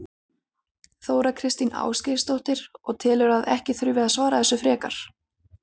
Þóra Kristín Ásgeirsdóttir: Og telurðu að ekki þurfi að svara þessu frekar?